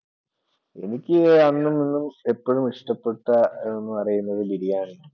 എനിക്ക് അന്നും ഇന്നും എപ്പോഴും ഇഷ്ടപ്പെട്ട എന്ന് പറയുന്നത് ബിരിയാണി ആണ്.